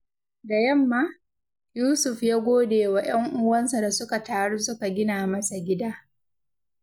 Da yamma, Yusuf ya gode wa ‘yan uwansa da suka taru suka gina masa gida.